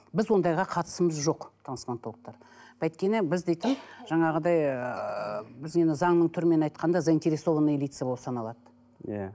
біз ондайға қатысымыз жоқ трансплантологтар өйткені біз дейтін жаңағыдай ыыы біз енді заңның түрімен айтқанда заинтересованный лица болып саналады иә